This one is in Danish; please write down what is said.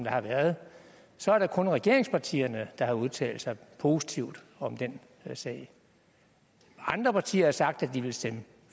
har været så er det kun regeringspartierne der har udtalt sig positivt om den sag andre partier har sagt at de vil stemme